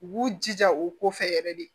U b'u jija u kɔfɛ yɛrɛ de